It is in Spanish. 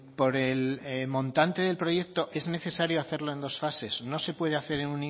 por el montante del proyecto es necesario hacerlo en dos fases no se puede hacer en